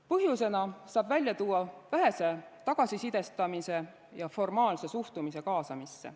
Põhjusena saab välja tuua vähese tagasisidestamise ja formaalse suhtumise kaasamisse.